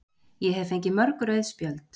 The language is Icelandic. Ég hef fengið mörg rauð spjöld.